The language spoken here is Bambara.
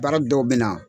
Baara dɔw bɛ na